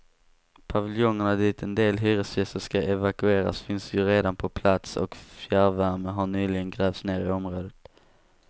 Paviljongerna dit en del hyresgäster skall evakueras finns ju redan på plats och fjärrvärme har nyligen grävts ner i området.